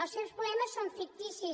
els seus problemes són ficticis